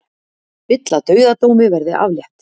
Vill að dauðadómi verði aflétt